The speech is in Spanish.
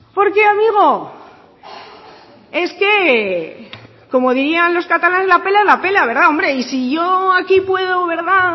porque amigo es que como dirían los catalanes la pela es la pela y si yo aquí puedo